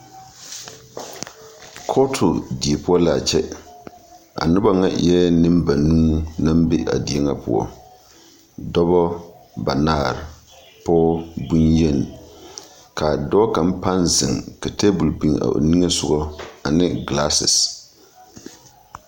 Kɔɔte diepoɔ la a kyɛ a noba ŋɛɛ eɛɛ neŋ ba nuu naŋ be a diepoɔ dɔba ba naare poge boŋ yeŋ ka a dɔɔ kaŋ baŋ zeŋ ka tabol biŋ a o niŋee sɔŋɔ ane gilaase.